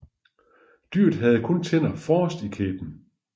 Dyret havde kun tænder forrest i kæben